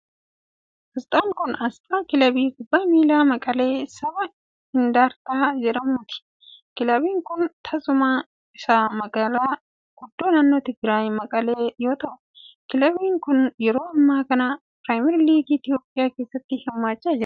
Asxaan kun, asxaa kilabii kubbaa miilaa Maqalee sabaa Indartaa jedhamuuti. Kilabiin kun teessumni isaa magaala guddoo naannoo Tigraaay ,Maqalee yoo ta'u, kilabiin kun yeroo ammaa kana pirimar liigii Itoophiyaa keessatti hirmaachaa jira.